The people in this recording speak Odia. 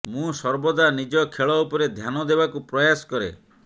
ମୁଁ ସର୍ବଦା ନିଜ ଖେଳ ଉପରେ ଧ୍ୟାନ ଦେବାକୁ ପ୍ରୟାସ କରେ